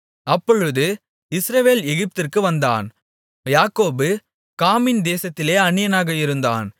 அப்பொழுது இஸ்ரவேல் எகிப்திற்கு வந்தான் யாக்கோபு காமின் தேசத்திலே அந்நியனாக இருந்தான்